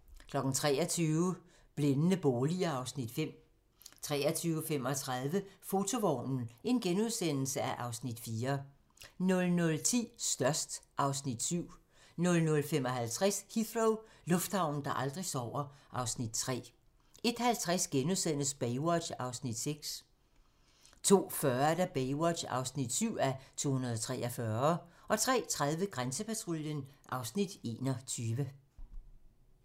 23:00: Blændende boliger (Afs. 5) 23:35: Fotovognen (Afs. 4)* 00:10: Størst (Afs. 7) 00:55: Heathrow - lufthavnen, der aldrig sover (Afs. 3) 01:50: Baywatch (6:243)* 02:40: Baywatch (7:243) 03:30: Grænsepatruljen (Afs. 21)